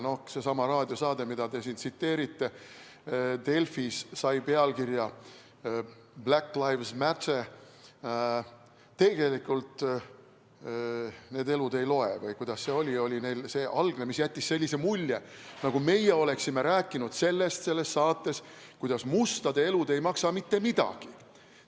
Sellestsamast raadiosaadest, mida te siin mainite, sai Delfis pealkirja "Black Lives Matter: tegelikult need elud ei loe" või kuidas neil oli see algne, mis jättis sellise mulje, nagu meie oleksime rääkinud selles saates sellest, kuidas mustade elud ei maksa mitte midagi.